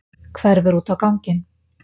Hverfur út á ganginn.